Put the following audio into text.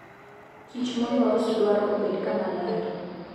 Kich molos dwaro obedo kamaler.